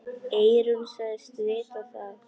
Eyrún sagðist vita það.